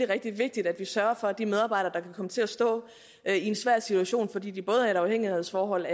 rigtig vigtigt at vi sørger for at de medarbejdere der kan komme til at stå i en svær situation fordi de både er i et afhængighedsforhold